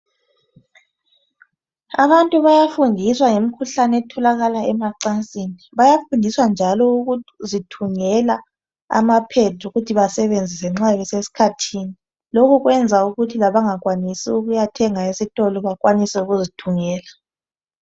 Abantu bayafundiswa ngemkhuhlane etholakala emacansini .Bayafundiswa njalo ukuzithungela amapads ukuthi basebenzise nxa bese sikhathini .Lokhu kuyenza ukuthi labangakwanisi ukuyathenga esitolo bakwanise ukuzithungela .